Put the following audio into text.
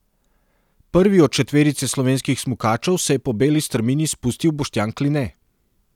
Prvi od četverice slovenskih smukačev se je po beli strmini spustil Boštjan Kline.